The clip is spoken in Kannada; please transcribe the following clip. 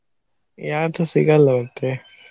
ಯಾವತ್ತು ಸಿಗಲ್ಲ ಮತ್ತೆ.